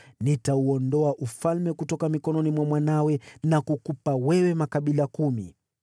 Nitauondoa ufalme kutoka mikononi mwa mwanawe na kukupa wewe makabila kumi.